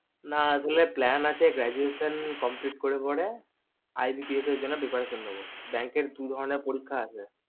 না আসলে plan আছে graduation complete করার পরে IBPS জন্য Preparation নেবো bank এর দু ধরণেন পরীক্ষা আছে